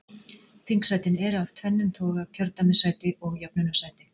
Þingsætin eru af tvennum toga, kjördæmissæti og jöfnunarsæti.